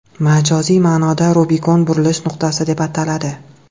Majoziy ma’noda Rubikon burilish nuqtasi deb ataladi .